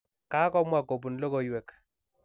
kakomwa kobun logoiywek.